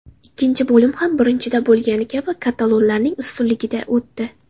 Ikkinchi bo‘lim ham birinchisida bo‘lgani kabi katalonlarning ustunligida o‘tdi.